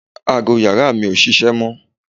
Aago yàrá mi ò ṣiṣẹ́ mọ́